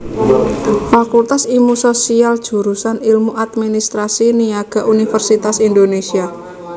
Fakultas Ilmu Sosial Jurusan Ilmu Administrasi Niaga Universitas Indonésia